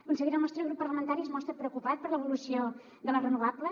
consellera el nostre grup parlamentari es mostra preocupat per l’evolució de les renovables